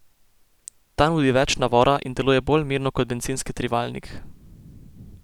Ta nudi več navora in deluje bolj mirno kot bencinski trivaljnik.